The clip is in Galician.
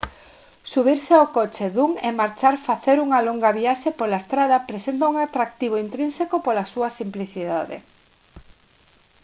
subirse ao coche dun e marchar facer unha longa viaxe pola estrada presenta un atractivo intrínseco pola súa simplicidade